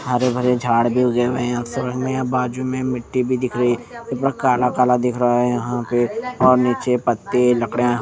हरे भरे झाड़ भी उगे हुए है याहाँ पे बाजु में मिट्टी दिख रही है ऊपर कला-काला दिख रहा है यहाँ पे और निचे पत्ते लकडिया--